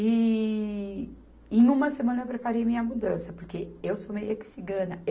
E, e numa semana eu preparei minha mudança, porque eu sou meio que cigana